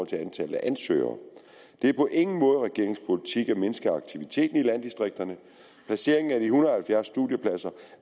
til antallet af ansøgere det er på ingen måde regeringens politik at mindske aktiviteten i landdistrikterne placeringen af de en hundrede og halvfjerds studiepladser